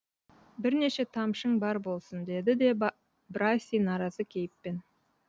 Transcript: бірнеше тамшың бар болсын деді де браси наразы кейіппен